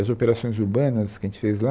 As operações urbanas que a gente fez lá,